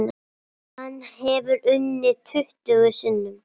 Hann hefur unnið tuttugu sinnum.